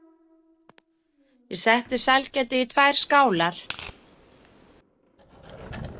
Ég setti sælgætið í tvær skálar.